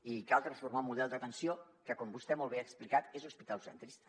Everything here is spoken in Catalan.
i cal transformar el model d’atenció que com vostè molt bé ha explicat és hospitalocentrista